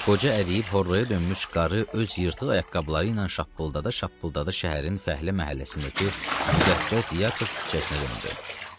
Qoca əriyib horrrağa dönmüş qarı öz yırtıq ayaqqabıları ilə şappıldada şappıldada şəhərin fəhlə məhəlləsindəki müqəddəs Yakof küçəsinə döndü.